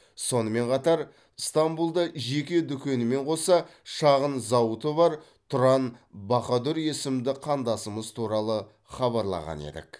сонымен қатар стамбұлда жеке дүкенімен қоса шағын зауыты бар тұран баһадүр есімді қандасымыз туралы хабарлаған едік